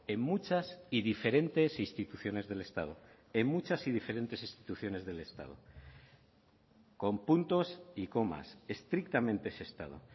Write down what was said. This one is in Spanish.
en muchas y diferentes instituciones del estado en muchas y diferentes instituciones del estado con puntos y comas estrictamente ese estado